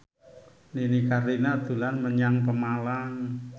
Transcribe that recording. Nini Carlina dolan menyang Pemalang